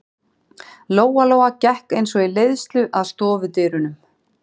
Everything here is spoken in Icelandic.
Lóa-Lóa gekk eins og í leiðslu að stofudyrunum.